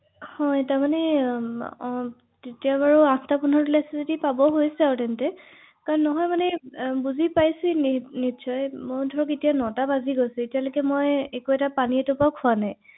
হয় হয়